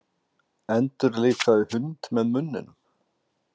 Endurlífgaði hund með munninum